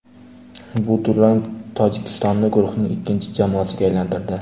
Bu durang Tojikistonni guruhning ikkinchi jamoasiga aylantirdi.